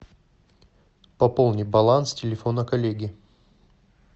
пополни баланс телефона коллеги